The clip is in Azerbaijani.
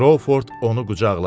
Krovford onu qucaqladı.